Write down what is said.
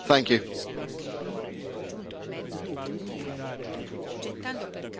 Voglio essere molto chiaro su questo argomento e su altri argomenti.